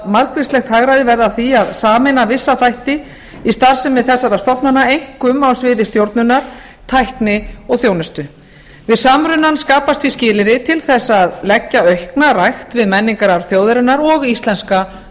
margvíslegt hagræði verði af því að sameina vissa þætti í starfsemi þessara stofnana einkum á sviði stjórnunar tækni og þjónustu við samrunann skapast því skilyrði til þess að leggja aukna rækt við menningararf þjóðarinnar og íslenska